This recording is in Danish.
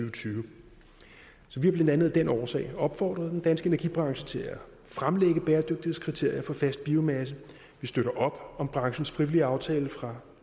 og tyve så vi har blandt andet af den årsag opfordret den danske energibranche til at fremlægge bæredygtighedskriterier for fast biomasse vi støtter op om branchens frivillige aftale fra